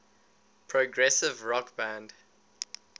progressive rock band